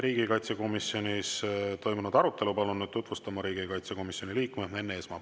Riigikaitsekomisjonis toimunud arutelu palun nüüd tutvustama riigikaitsekomisjoni liikme Enn Eesmaa.